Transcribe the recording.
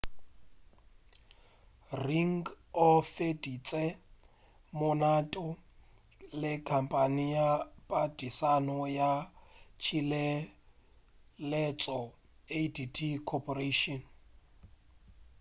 ring o feditše molato le khampane ya padišano ya tšhireletšo adt corporation